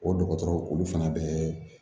O dɔgɔtɔrɔ olu fana bɛɛ